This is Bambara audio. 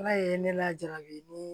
Ala ye ne lajabi ni